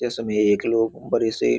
ये सभी एक लोग बड़े से --